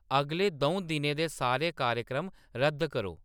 अगले दऊं दिनें दे सारे कार्यक्रम रद्द करो